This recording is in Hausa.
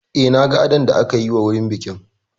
Eh, na ga adon da aka yi wa wurin bikin